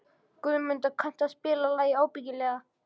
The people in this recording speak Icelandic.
Guðmunda, kanntu að spila lagið „Ábyggilega“?